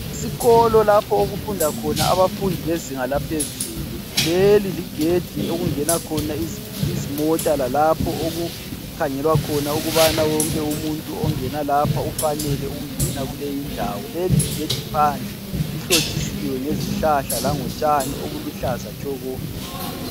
Isikolo lapho okufunda khona abafundi bezinga laphezulu. Leli ligedi okungena khona izimota lalapho okukhangelwa khona ukubana wonke umuntu ongena lapha ufanele ukungena kuleyindawo. Leligedi phandle lihlotshisiwe ngezihlahla langotshani obuluhlaza tshoko.